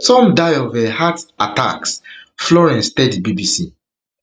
some die of um heart attacks florence florence tell di bbc